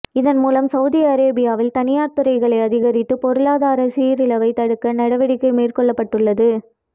இதன் மூலம் சவுதி அரேபியாவில் தனியார் துறைகளை அதிகரித்து பொருளாதார சீரழிவை தடுக்க நடவடிக்கை மேற்கொள்ளப்பட்டுள்ளது